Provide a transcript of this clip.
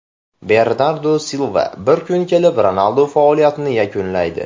Bernardu Silva: Bir kun kelib Ronaldu faoliyatini yakunlaydi.